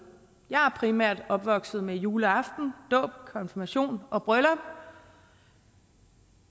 jeg er primært opvokset med juleaften dåb konfirmation og bryllup